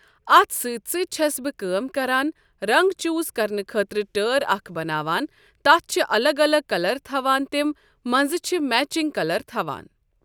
اَتھ سۭتۍ سۭتۍ چھٮ۪س بہٕ کٲم کَران رنٛگ چوٗز کَرنہٕ خۭٲطرٕ ٹٲر اَکھ بناوان تَتھ چھِ الگ الگ کَلَر تھَوان تِم, منٛزٕ چھِ میچِنٛگ کَلَر تھَوان ۔